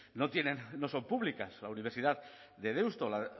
no tienen no son públicas la universidad de deusto la